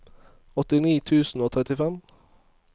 åttini tusen og trettifem